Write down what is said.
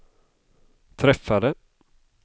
träffade